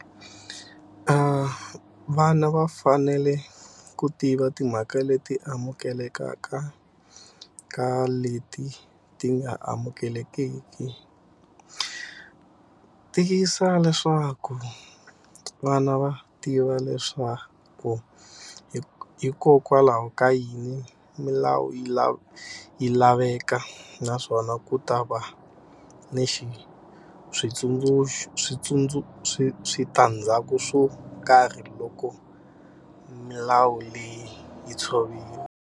Vana va fanele ku tiva timhaka leti amukeleka ka na leti ti nga amukelekiki Tiyisisa leswaku vana va tiva leswaku hikokwalaho ka yini milawu yi laveka naswona ku ta va ni switandzhaku swo karhi loko milawu leyi yi tshoviwa.